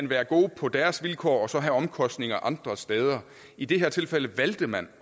være gode på deres vilkår og så have omkostninger andre steder i det her tilfælde valgte man